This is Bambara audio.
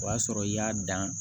O y'a sɔrɔ i y'a dan